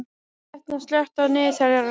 Etna, slökktu á niðurteljaranum.